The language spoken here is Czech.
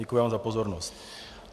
Děkuji vám za pozornost.